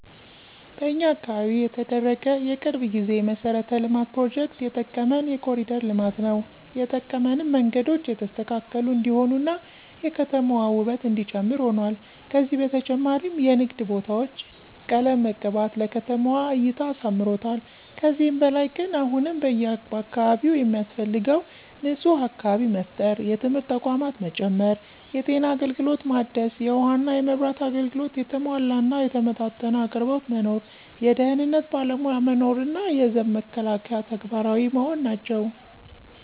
በኛ አካባቢ የተደረገ የቅርብ ጊዜ የመሠረተ ልማት ፕሮጀክት የጠቀመን የኮሪደር ልማት ነው የጠቀመንም መንገዶቹ የተስተካከሉ እንዲሆኑ እና የከተማዋ ውበት እነዲጨምር ሁኗል። ከዚ በተጨማሪም የንግድ ቦታዎች ቀለም መቀባት ለከተማዋ እይታ አሳምሮታል። ከዚህ በላይ ግን አሁንም በአካባቢው የሚያስፈልገው ንፁህ አካባቢ መፍጠር፣ የትምህርት ተቋማት መጨመር፣ የጤና አገልግሎት ማደስ፣ የውሃ እና የመብራት አገልግሎት የተሟላ እና የተመጣጠነ አቅርቦት መኖር፣ የደህንነት ባለሞያ መኖር እና የዘብ መከላከያ ተግባራዊ መሆን ናቸው።